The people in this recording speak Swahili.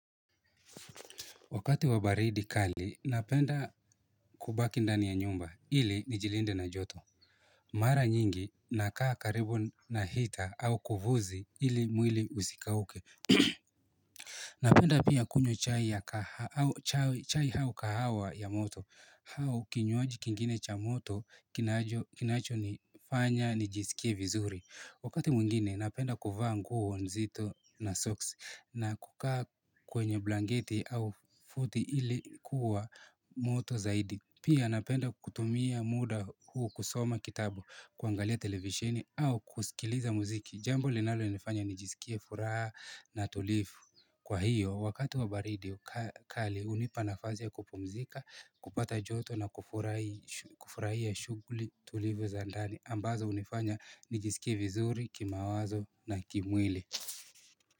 Wakati wabaridi kali napenda kubaki ndani ya nyumba ili nijilinde na joto Mara nyingi nakaa karibu na heater au kufuzi ili mwili usikauke Napenda pia kunywa chai au kahawa ya moto au kinywaji kingine cha moto kinacho nifanya nijisikie vizuri Wakati mwngine napenda kuvaa nguo nzito na socks na kukaa kwenye blangeti au futi ilikuwa moto zaidi Pia napenda kutumia muda kusoma kitabu kuangalia televisheni au kusikiliza muziki Jambo linalo nifanya nijisikie furaha na tulivu Kwa hiyo, wakati wa baridi kali unipanafasi ya kupumzika, kupata joto na kufurahia shughuli tulivu za ndani ambazo unifanya nijisikie vizuri, kimawazo na kimwili.